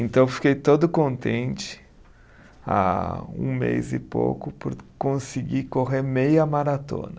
Então, eu fiquei todo contente, há um mês e pouco, por conseguir correr meia maratona.